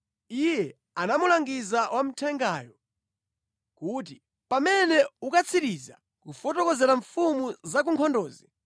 Iye anamulangiza wa mthengayo kuti, “Pamene ukatsiriza kufotokozera mfumu za ku nkhondozi,